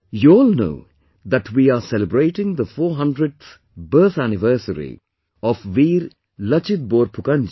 You all know that we are celebrating the 400th birth anniversary of Veer Lachit Borphukan ji